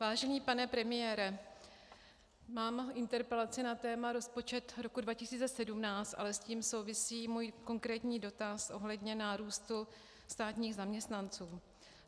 Vážený pane premiére, mám interpelaci na téma rozpočet roku 2017, ale s tím souvisí můj konkrétní dotaz ohledně nárůstu státních zaměstnanců.